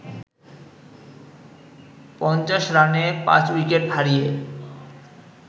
৫০ রানে পাঁচ উইকেট হারিয়ে